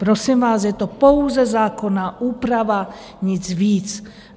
Prosím vás, je to pouze zákonná úprava, nic víc.